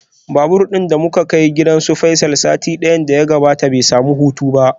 Babur din da muka kai gidan Faisal satin da ya gabata bai samu hutu ba.